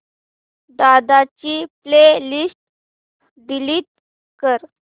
दादा ची play list delete कर